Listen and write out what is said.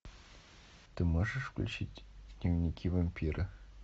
ты можешь включить дневники вампира